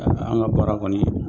An an ka baara kɔni.